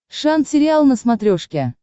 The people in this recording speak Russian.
шант сериал на смотрешке